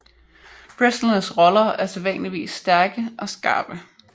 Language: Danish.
Wrestlernes roller er sædvanligvis stærke og skarpe